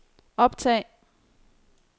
optag